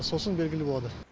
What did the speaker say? сосын белгілі болады